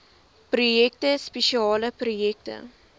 projekte spesiale projekte